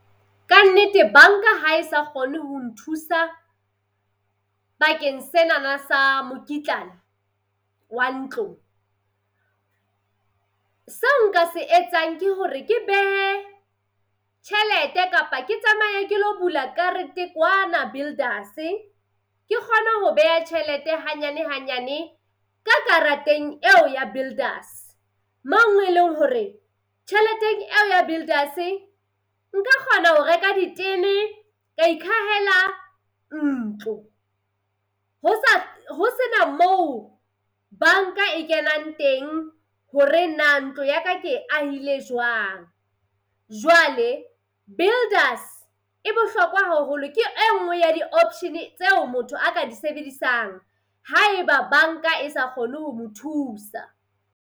Ka nnete banka hae sa kgone ho nthusa bakeng senana sa mokitlana wa ntlo. Seo nka se etsang ke hore ke behe tjhelete kapa ke tsamaye ke lo bula karete kwana Builders-e ke kgone ho beha tjhelete hanyane hanyane ka karateng yeo ya Builders mo e leng hore tjhelete eo ya Builders nka kgona ho reka ditene ka ikhahela ntlo ho sa ho sena moo banka e kenang teng hore na ntlo ya ka ke e ahile jwang. Jwale Builders e bohlokwa haholo ke e nngwe ya di option-e tseo motho a ka di sebedisang haeba banka e sa kgone ho mo thusa.